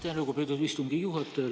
Aitäh, lugupeetud istungi juhataja!